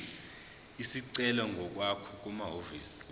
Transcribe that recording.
isicelo ngokwakho kumahhovisi